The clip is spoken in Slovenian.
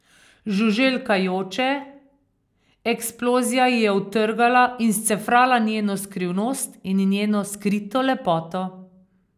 Žuželka joče, eksplozija ji je odtrgala in scefrala njeno skrivnost in njeno skrito lepoto.